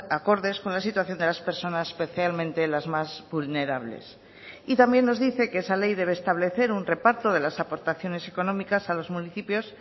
acordes con la situación de las personas especialmente las más vulnerables y también nos dice que esa ley debe establecer un reparto de las aportaciones económicas a los municipios